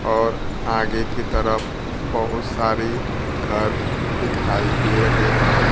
और आगे की तरफ बहुत सारी घर दिखाई दे रहे हैं।